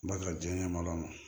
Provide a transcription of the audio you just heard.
Ba ka diɲɛ ɲɛmɔgɔ ma